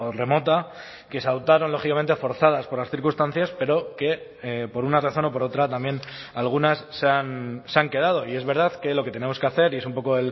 remota que se adoptaron lógicamente forzadas por las circunstancias pero que por una razón o por otra también algunas se han quedado y es verdad que lo que tenemos que hacer y es un poco